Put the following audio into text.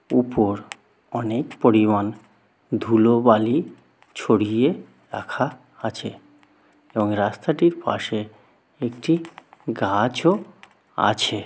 উপর অনেক পরিমাণ ধুলোবালি ছড়িয়ে রাখা আছে এবং রাস্তাটির পাশে একটি গাছও আছে।